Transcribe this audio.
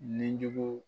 Nijugu